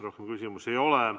Rohkem küsimusi ei ole.